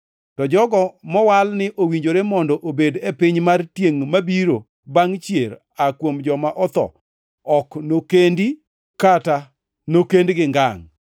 To jogo mowal ni owinjore mondo obed e piny mar tiengʼ mabiro bangʼ chier aa kuom joma otho ok nokendi kata nokendgi ngangʼ,